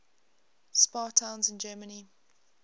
spa towns in germany